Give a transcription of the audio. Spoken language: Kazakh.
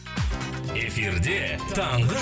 эфирде таңғы